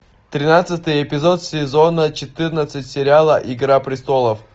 тринадцатый эпизод сезона четырнадцать сериала игра престолов